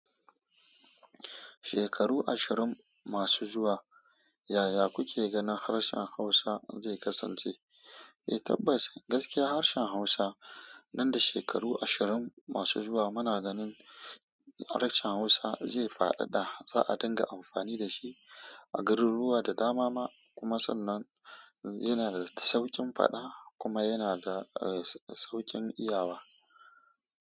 Shekaru ashirin masu zuwa, yaya kuke ganin harshen Hausa zai kasance? Eh tabbas, gaskiya harshen Hausa nan da shekaru ashirin masu zuwa muna ganin harshen Hausa zai faɗaɗa. Za a dinga amfani da shi a garuruwa da dama ma. Kuma sannan yana da sauƙin faɗa kuma yana da, eh, sauƙin iyawa.